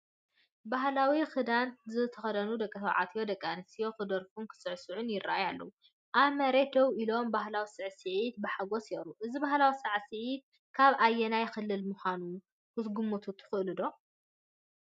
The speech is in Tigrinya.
ባህላዊ ክዳን ዝተኸድኑ ደቂ ተባዕትዮን ደቂ ኣንስትዮን ክደርፉን ክሳዕስዑን ይረኣዩ ኣለው ። ኣብ መሬት ደው ኢሎም ባህላዊ ሳዕስዒት ብሓጎስ የቕርቡ። እዚ ባህላዊ ሳዕስዒት ካብ ኣየናይ ክልል ምዃኑ ክትግምቱ ትኽእሉ?